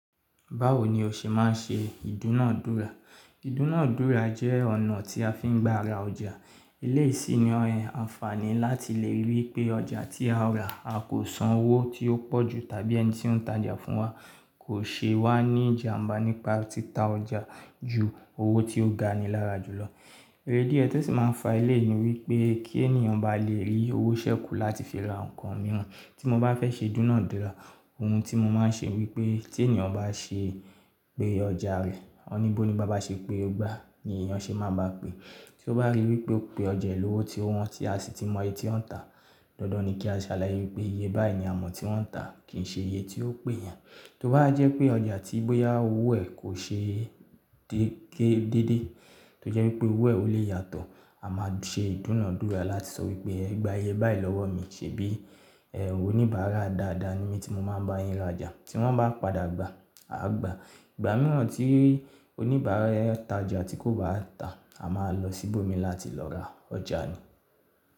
Báwo ni o ṣe máa ń ṣe ìdúnàádúrà? Ìdúnàádúrà jẹ́ ọ̀nà tí a fi ń gba ara ọjà. Iléyi sini àǹfààní láti lè rí pé ọjà tí a rà a kò san owó tí ó pọ̀ jù tàbí ẹni tí ń tajà fún wa kò ṣe wá ní ìjàmbá nípa títa ọjà ju owó tí ó ga ni lára jù lọ. Eré díẹ̀ tí ẹ sì máa ń fa ileyi ni wípé kí ènìyàn bá lè rí owó ṣẹ́kù láti fi ra nǹkan mìíràn, tí mo bá fẹ́ ṣe ìdúnàádúrà, ohun tí mo máa ń ṣe wípé tí ènìyàn bá ṣe pé ọjà rẹ̀, won bi onigba báa ṣe pé igbá, ni èèyàn ṣe máa bá pè. Tí ó bá rí wípé ó pe ọjà ẹ lowo tí ó wọ́n tí a sì ti mọye tí wọ́n ń tà, dandan ni kí a ṣe àlàyé wípé iye báyìí ni a mọ̀ tí wọ́n ń tà kì í ṣe iye tí ó pè yẹn. Tí ó bá jẹ́ pé ọjà tí boya owo e kò ṣe déké déédéé, tó jẹ́ wípé owó ẹ̀ ò lè yàtọ̀, a máa ṣe ìdúnàádúrà láti sọ wípé ẹ gba iye báyìí lọ́wọ́ mi, ṣe bí ẹ oníbàárà dáadáa ni mí tí mo máa ń bá yín rajà. Tí wọ́n bá padà gba, a gba. Ìgbà mìíràn tí oníbà ń ta ọjà tí kò bá tà, a máa lọ síbò mi láti lọ ra ọjà ni.